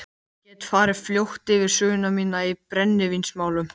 Ég get farið fljótt yfir sögu mína í brennivínsmálum.